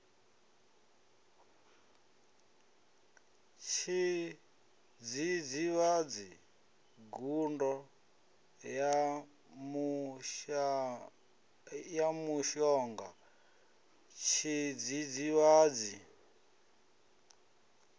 tshidzidzivhadzi gudo ya mushonga tshidzidzivhadzi